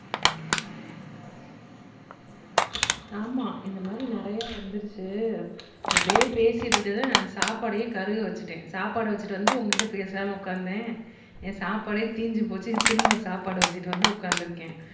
ஆமா இந்த மாதிரி நிறைய வந்துருச்சு அப்படியே பேசிட்டு இருக்கிறதை நான் சாப்பாடையே கருக வச்சுட்டேன் சாப்பாடை வச்சிட்டு வந்து உங்க கிட்ட பேசலான்னு உட்கார்ந்தேன் என் சாப்பாடே தீஞ்சு போச்சு திரும்ப சாப்பாடு வச்சிட்டு வந்து உட்கார்ந்து இருக்கேன்